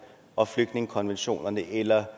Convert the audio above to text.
og flygtningekonventionen eller